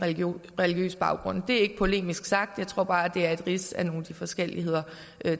religiøs baggrund det er ikke polemisk sagt jeg tror bare det er et rids af nogle af de forskelligheder